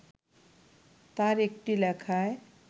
তার একটি লেখায়